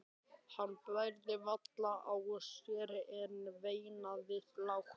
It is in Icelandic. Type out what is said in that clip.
Hann bærði varla á sér en veinaði lágt.